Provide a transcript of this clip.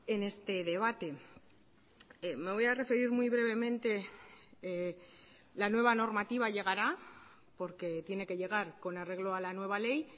en este debate me voy a referir muy brevemente la nueva normativa llegará porque tiene que llegar con arreglo a la nueva ley